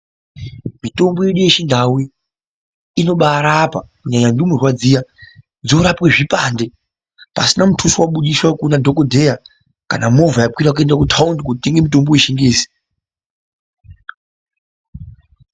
Mitombo yedu yechindau iyi , inobaarapa kunyanya ndumurwa dziya, dzinorapwa zvipande, pasina mutyiswa wabuditswa kuna dhokodheya kana movha yakwira kuenda kutawundi kootenga mutombo wechingezi.